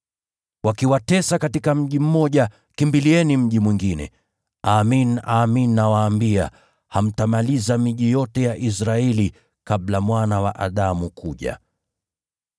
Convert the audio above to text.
Wakiwatesa katika mji mmoja, kimbilieni mji mwingine. Amin, amin nawaambia, hamtamaliza miji yote ya Israeli kabla Mwana wa Adamu kuja.